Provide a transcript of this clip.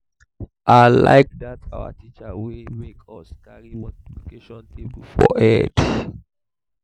i like dat our teacher wey make us carry multiplication table for head